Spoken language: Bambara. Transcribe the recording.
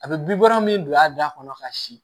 A bɛ bin bɔrɛ min don a da kɔnɔ ka si